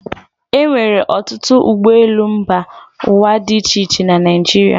E nwere ọtụtụ ụgbọelu mba ụwa dị iche iche na Naịjirịa.